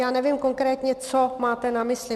Já nevím, konkrétně co máte na mysli.